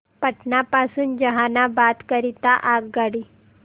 पटना पासून जहानाबाद करीता आगगाडी